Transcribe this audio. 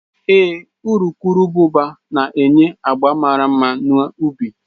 Ee, urukurubụba na-enye agba mara mma na ubi